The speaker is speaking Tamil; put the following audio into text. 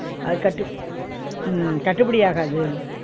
அது கட்டுப் உம் கட்டுப்பிடியாகாது